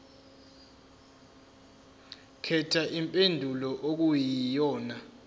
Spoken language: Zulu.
khetha impendulo okuyiyona